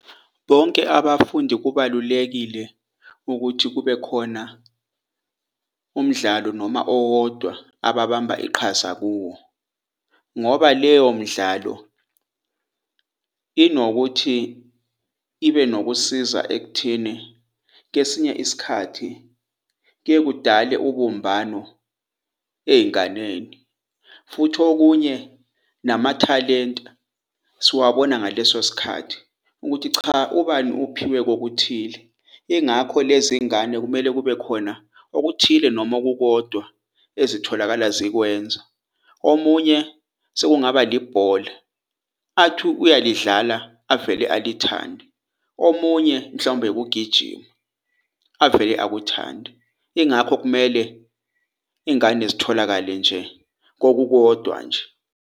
Bonke abafundi kubalulekile ukuthi kubekhona umdlalo noma owodwa ababamba iqhaza kuwo ngoba leyo midlalo inokuthi ibe nokusiza ekutheni, kwesinye isikhathi kuyekudale ubumbano eyinganeni futhi okunye namathalente siwabona ngaleso sikhathi ukuthi cha ubani uphiwe kokuthile. Ingakho lezi ngane kumele kube kukhona okuthile noma okukodwa ezitholakala zikwenza. Omunye sekungaba libhola athi uyalidlala avele alithande, omunye mhlawumbe ukugijima avele akuthande. Ingakho kumele ingane zitholakale nje kokukodwa nje.